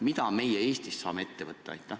Mida me Eestis saaksime ette võtta?